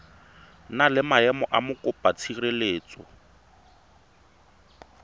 na le maemo a mokopatshireletso